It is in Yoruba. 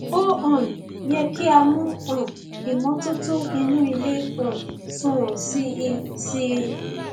ó um yẹ kí a mú um ìmọtótó inú ilé um sunwọn sí i sí i